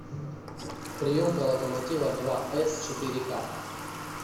приемка локомотива два с четыре к